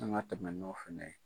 An ka tɛmɛ n'o fana ye.